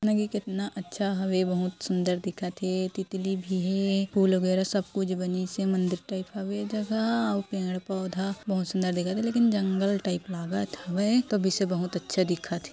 --कितना अच्छा हावे बहुत सुंदर दिखत थे तितली भी हे फुल वगैरा सब कुछ बनीस है मंदिर टाइप हावे ए जगह ह अउ पेड़ पौधे बहुत सुंदर दिखाई हे लेकिन जंगल टाईप लागत हावय एहा तो भी से बहुत अच्छा दिखत थे।